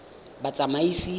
batsamaisi